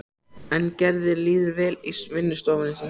En Gerði líður vel í vinnustofunni sinni.